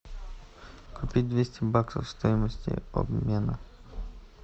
купить двести баксов стоимость обмена